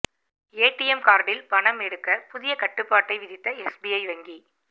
ATM கார்ட்டில் பணம் எடுக்க புதிய கட்டுப்பாட்டை விதித்த எஸ்பிஐ வங்கி